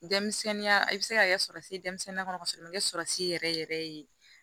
Denmisɛnninya i bɛ se ka kɛ denmisɛnninya kɔnɔ ka sɔrɔ a ma kɛ yɛrɛ yɛrɛ ye